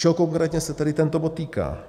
Čeho konkrétně se tedy tento bod týká?